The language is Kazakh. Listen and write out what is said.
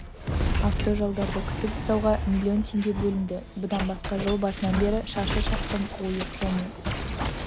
автожолдарды күтіп ұстауға млн теңге бөлінді бұдан басқа жыл басынан бері шаршы шақырым ойық және